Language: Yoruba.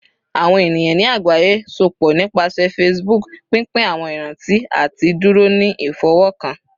Awọn eniyan ni agbaye sopọ nipasẹ Facebook, pinpin awọn iranti ati duro ni ifọwọkan